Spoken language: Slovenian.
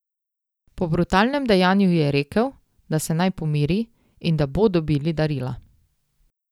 Po brutalnem dejanju ji je rekel, da se naj pomiri in da bo dobili darila.